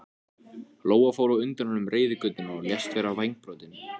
Lóa fór á undan honum reiðgötuna og lést vera vængbrotin.